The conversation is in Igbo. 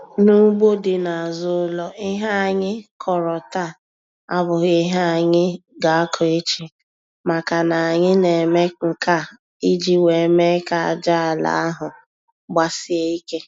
N'ugbo dị n'azụ ụlọ, ihe anyị kọrọ taa abụghị ihe anyị ga-akọ echi, makana anyị na-eme nke a iji wee mee ka aja ala ahụ gbasie ike.